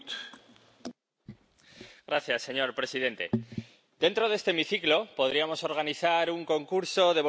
Señor presidente, dentro de este hemiciclo podríamos organizar un concurso de bonitas palabras y declaraciones vacías.